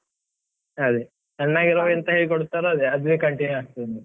ಅದೇ, ಸಣ್ಣಗಿರುವಾಗ ಎಂಥ ಹೇಳಿಕೊಡ್ತಾರೋ ಅದೆ, ಅದೇ continue ಆಗ್ತಾದೆ.